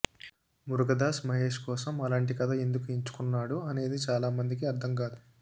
మురుగదాస్ మహేష్ కోసం అలాంటి కథ ఎందుకు ఎంచుకున్నాడు అనేది చాలా మందికి అర్ధం కాదు